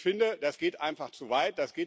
Und ich finde, das geht einfach zu weit.